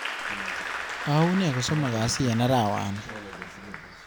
Au ne kosomok kasi eng arawani